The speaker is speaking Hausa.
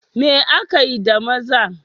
Me akai da maza?